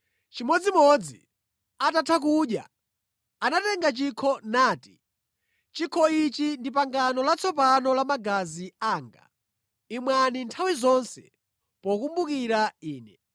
Chimodzimodzi, atatha kudya, anatenga chikho, nati, “Chikho ichi ndi pangano latsopano la magazi anga; imwani nthawi zonse pokumbukira Ine.”